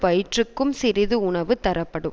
வயிற்றுக்கும் சிறிது உணவு தரப்படும்